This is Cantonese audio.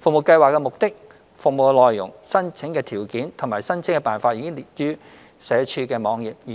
服務計劃的目的、服務內容、申請條件及申請辦法已列於社署網頁，而